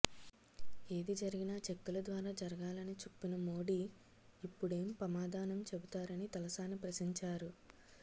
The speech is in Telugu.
ఏది జరిగినా చెక్కుల ద్వారా జరాగాలని చుప్పిన మోడీ ఇప్పుడెం పమాధానం చెబుతారని తలసాని ప్రశించారు